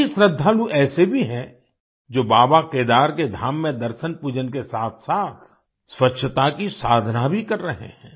कई श्रद्धालु ऐसे भी हैं जो बाबा केदार के धाम में दर्शनपूजन के साथसाथ स्वच्छता की साधना भी कर रहे हैं